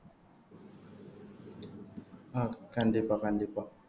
ஆஹ் கண்டிப்பா கண்டிப்பா